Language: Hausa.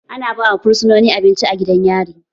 Ana ba wa fursononi abinci a gidan yari.